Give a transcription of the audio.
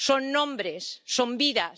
Son nombres, son vidas.